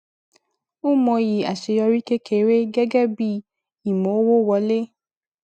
ó mọyì aṣeyọrí kékeré gẹgẹ bí ìmọwó wọlé